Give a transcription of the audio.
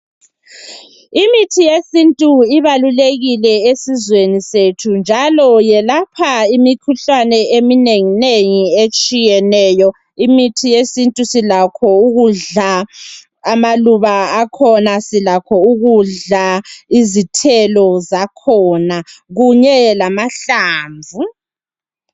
Imithi yesintu ibalulekile esizweni sethu njalo yelapha imikhuhlane eminenginengi etshiyeneyo. Imithi yesintu silakho ukudla amaluba akhona silakho ukudla izithelo zakhona kunye lamahlamvu.